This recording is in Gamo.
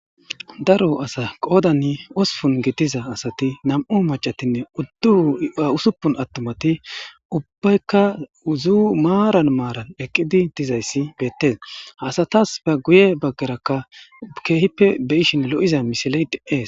Daro asa qoodan osupun gitiza asati nam7u macatinne uddu ausuppun attumati ubbaykka uzu maaran maaran eqqidi dizayssi beettes hasatas fe guye baggerakka keehippe beyishin lo7iza misileyt ees